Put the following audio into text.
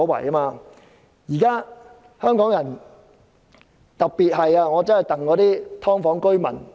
對於現時的香港人，我特別心疼"劏房"居民。